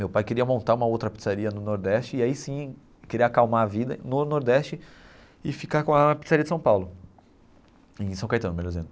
Meu pai queria montar uma outra pizzaria no Nordeste e aí sim, queria acalmar a vida no Nordeste e ficar com a pizzaria de São Paulo, em São Caetano, melhor dizendo.